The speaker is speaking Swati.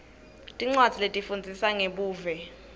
tincwadzi letifundzisa ngebuve